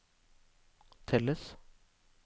telles